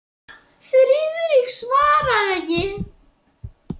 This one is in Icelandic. Friðrik svaraði ekki.